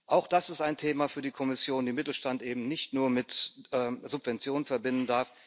Auch das ist ein Thema für die Kommission, den Mittelstand eben nicht nur mit Subventionen zu verbinden.